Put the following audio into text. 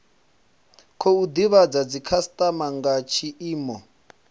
khou divhadza dzikhasitama nga tshiimo